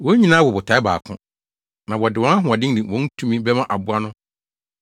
Wɔn nyinaa wɔ botae baako, na wɔde wɔn ahoɔden ne wɔn tumi bɛma aboa no.